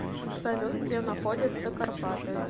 салют где находятся карпаты